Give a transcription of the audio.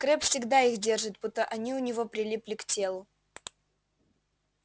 крэбб всегда их держит будто они у него прилипли к телу